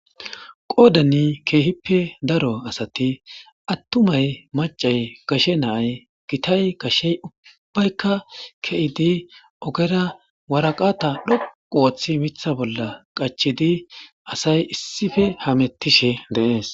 Qoddan kehippe daaro asati attumay maccay gashe na'ay giitay gashey ubbaykka ke'ddi oggera waraqata dhoqqu oththidi miththa bolla qachchidi oggera asay issippe hametishshe de'essi.